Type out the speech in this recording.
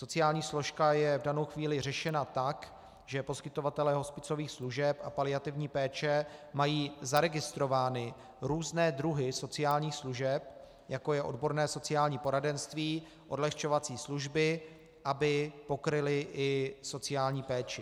Sociální složka je v danou chvíli řešena tak, že poskytovatelé hospicových služeb a paliativní péče mají zaregistrovány různé druhy sociálních služeb, jako je odborné sociální poradenství, odlehčovací služby, aby pokryly i sociální péči.